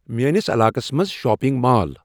میٲنِس علاقس منز شاپِنگ مال ۔